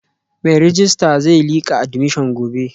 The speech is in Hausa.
Mai rejista zai lika admission gobe